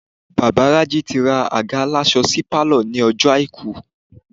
Bàbá Raji ti ra àga aláṣọ sínú pálọ̀ ní ọjọ́ àìkú